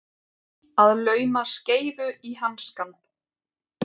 Að lauma skeifu í hanskann